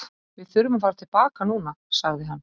Við þurfum að fara til baka núna, sagði hann.